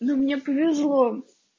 ну мне повезло